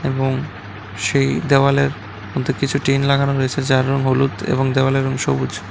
এবং সেই দেওয়ালের মধ্যে কিছু টিন লাগানো রয়েছে যারা হলুদ এবং দেয়ালের রং সবুজ।